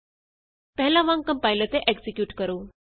ਪਹਿਲਾਂ ਵਾਂਗ ਕੰਪਾਇਲ ਅਤੇ ਐਕਜ਼ੀਕਿਯੂਟ ਕਰੋ